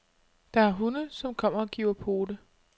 Der er hunde, som kommer og giver pote.